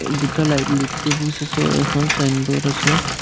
দুটা light post আছে এখন চাইনবোৰ্ড আছে।